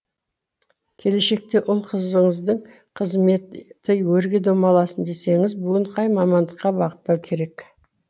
келешекте ұл қызыңыздың қызметі өрге домаласын десеңіз бүгін қай мамандыққа бағыттау керек